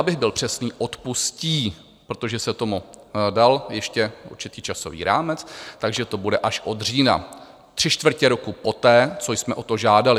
Abych byl přesný, odpustí, protože se tomu dal ještě určitý časový rámec, takže to bude až od října, tři čtvrtě roku poté, co jsme o to žádali.